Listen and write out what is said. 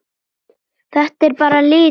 Þetta er bara litur.